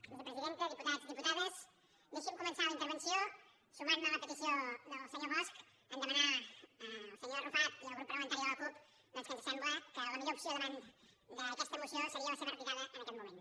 vicepresidenta diputats diputades deixin me començar la intervenció sumant me a la petició del senyor bosch de demanar al senyor arrufat i al grup parlamentari de la cup doncs que ens sembla que la millor opció davant d’aquesta moció seria la seva retirada en aquest moment